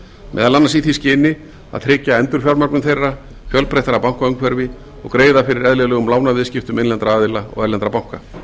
meðal annars í því skyni að tryggja endurfjármögnun þeirra fjölbreyttara bankaumhverfi og greiða fyrir eðlilegum lánaviðskiptum innlendra aðila og erlendra banka